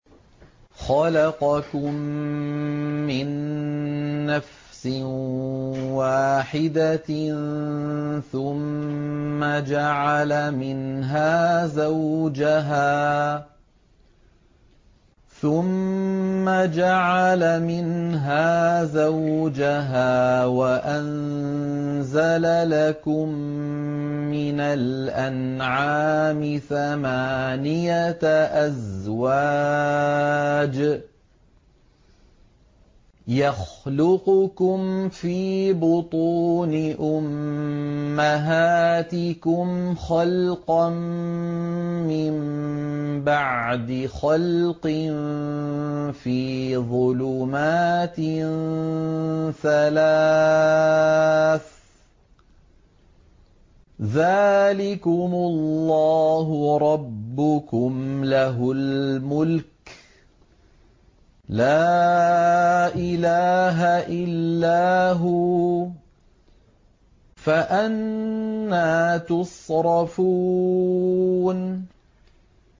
خَلَقَكُم مِّن نَّفْسٍ وَاحِدَةٍ ثُمَّ جَعَلَ مِنْهَا زَوْجَهَا وَأَنزَلَ لَكُم مِّنَ الْأَنْعَامِ ثَمَانِيَةَ أَزْوَاجٍ ۚ يَخْلُقُكُمْ فِي بُطُونِ أُمَّهَاتِكُمْ خَلْقًا مِّن بَعْدِ خَلْقٍ فِي ظُلُمَاتٍ ثَلَاثٍ ۚ ذَٰلِكُمُ اللَّهُ رَبُّكُمْ لَهُ الْمُلْكُ ۖ لَا إِلَٰهَ إِلَّا هُوَ ۖ فَأَنَّىٰ تُصْرَفُونَ